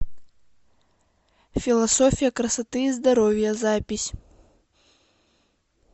философия красоты и здоровья запись